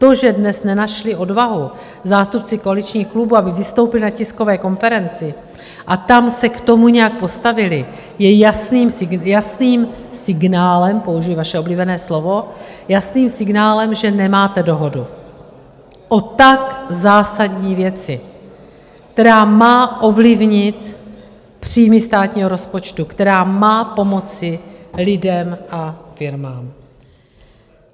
To, že dnes nenašli odvahu zástupci koaličních klubů, aby vystoupili na tiskové konferenci a tam se k tomu nějak postavili, je jasným signálem - použiji vaše oblíbené slovo - jasným signálem, že nemáte dohodu o tak zásadní věci, která má ovlivnit příjmy státního rozpočtu, která má pomoci lidem a firmám.